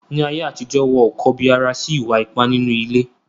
Ni ayé àtijọ́, wọn ò kọbi ara sí ìwà ipá nínú ilé.